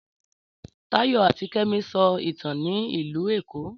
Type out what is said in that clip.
Táyọ̀ àti Kẹ́mi sọ ìtàn ní ìlú Èkó.